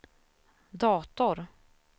dator